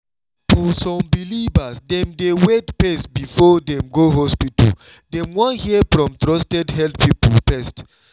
for some believers dem dey wait first before dem go hospital — dem wan hear from trusted health people first.